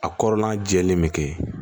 A kɔrɔla jɛlen bɛ kɛ